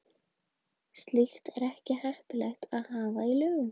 Slíkt er ekki heppilegt að hafa í lögum.